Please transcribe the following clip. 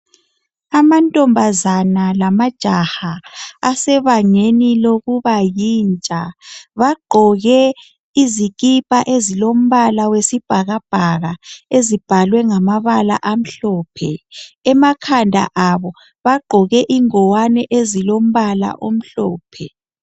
Amantombazane lamajaha ase bangeni lokubayintsha bagqoke izikipa ezilombala wesibhakabhaka ezibhalwe ngamabala amhlophe. Emakhanda abo bagqoke ingwane ezilombala omhlophe.